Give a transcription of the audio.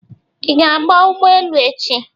Ị ga aba ụgbọelu echi?